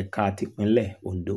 ẹ̀ka tipińlẹ̀ ondo